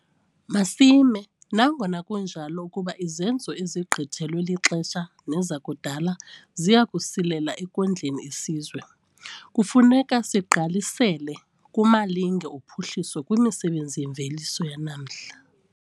Masime, nangona kunjalo ukuba izenzo ezigqithelwe lixesha nezakudala ziya kusilela ekondleni isizwe. Kufuneka sigqalisele kumalinge ophuhliso kwimisebenzi yemveliso yanamhla.